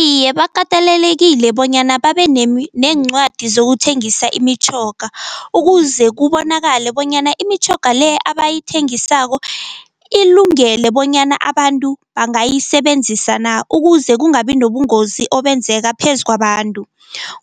Iye bakatelelekile bonyana babe neencwadi zokuthengisa imitjhoga, ukuze kubonakale bonyana imitjhoga le abayithengisako ilungele bonyana abantu bangayisebenzisa na, ukuze kungabi nobungozi obenzeka phezu kwabantu.